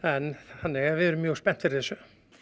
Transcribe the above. þannig að við erum mjög spennt fyrir þessu